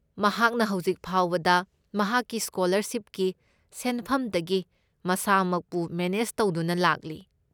ꯃꯍꯥꯛꯅ ꯍꯧꯖꯤꯛ ꯐꯥꯎꯕꯗ ꯃꯍꯥꯛꯀꯤ ꯁ꯭ꯀꯣꯂꯔꯁꯤꯞꯀꯤ ꯁꯦꯟꯐꯝꯗꯒꯤ ꯃꯁꯥꯃꯛꯄꯨ ꯃꯦꯅꯦꯖ ꯇꯧꯗꯨꯅ ꯂꯥꯛꯂꯤ꯫